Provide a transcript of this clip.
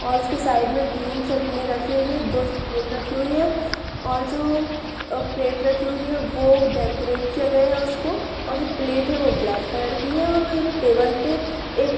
और उसके साइड में ग्रीन चटनी रखी हुई है दो स्पून रखी हुई है और जो प्लेट रखी हुई है वो डेकोरेट किया गया है उसको और जो प्लेट है वो ब्लैक की है और वो एक टेबल पे एक--